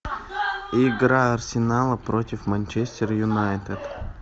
игра арсенала против манчестер юнайтед